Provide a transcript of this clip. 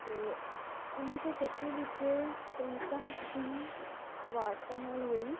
ਤੇ ਉੱਨੀ ਸੌ ਛੱਤੀ ਵਿੱਚ ਪ੍ਰੀਤਮ ਸਿੰਘ ਕਵਾੜਤਾ ਨਾਲ ਹੋਈ।